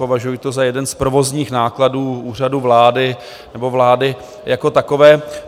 Považuji to za jeden z provozních nákladů Úřadu vlády nebo vlády jako takové.